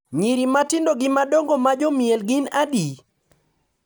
Nyiri matindo gi madongo ma jomiel gin adi?